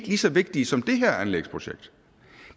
lige så vigtige som det her anlægsprojekt